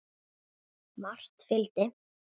Margt fylgdi.